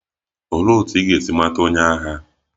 Olee otú ị ga-esi mata onye agha?